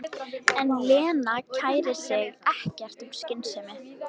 En Lena kærir sig ekkert um skynsemi.